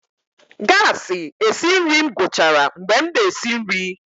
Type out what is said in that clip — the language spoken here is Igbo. gasi esi nri m gwuchara mgbe m na-esi nri.